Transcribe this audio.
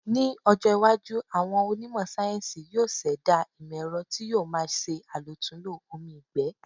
Ní ọjọ́ iwájú, àwọn onímọ̀ sáyéńsì yóò ṣẹ̀dá ìmọ̀-ẹ̀rọ tí yóò má ṣe àlòtúnlò omi ìgbẹ́.